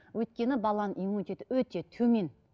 өйткені баланың иммунитеті өте төмен